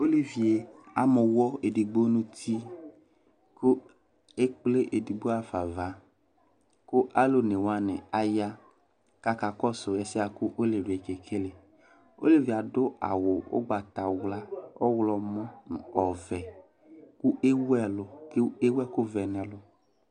Olevi yɛ ama ʋwɔ edigbo n'uti, kʋ ekple edigbo hafa ava kʋ alʋ onewani aya k'aka kɔsʋ ɛsɛ bua kʋ olevi yɛ kekele Olevi yɛ adʋ awʋ ʋgbatawla, ɔɣlɔmɔ nʋ ɔvɛ, kʋ okewu ɛlʋ, kʋ ewu ɛkʋ vɛ n'ɛlʋ